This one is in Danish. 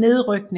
nedrykning